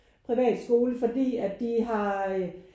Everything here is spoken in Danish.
Privatskole fordi at de har